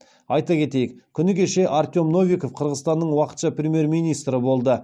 айта кетейік күні кеше артем новиков қырғызстанның уақытша премьер министрі болды